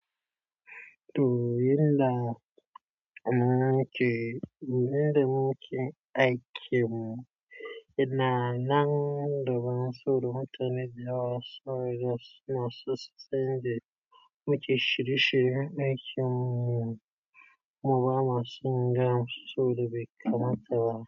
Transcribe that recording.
To yanda nake, yanda muke aiken mu, ina nan da ban saboada mutane da yawa suna so su san yanda muke shirye-shiryen aikin mu, mu ba ma so mu gaya masu, saboda bai kamata ba.